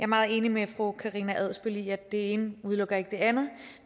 meget enig med fru karina adsbøl i at det ene udelukker det andet